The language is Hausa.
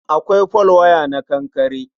Akwai folwaya na kankare.